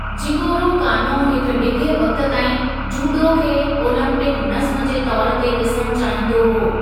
Jigoro Kano हिक डिघे वक़्त ताईं जूडो खे ओलम्पिक नज़्मु जे तौर ते ॾिसणु चाहींदो हो।